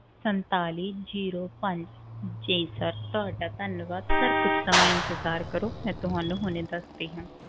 ਸੰਤਾਲੀ zero ਪੰਜ ਜੀ sir ਤੁਹਾਡਾ ਧੰਨਵਾਦ sir ਕੁੱਝ ਸਮਾਂ ਇੰਤਜਾਰ ਕਰੋ ਮੈਂ ਤੁਹਾਨੂੰ ਹੁਣੇ ਦੱਸਦੀ ਹਾਂ।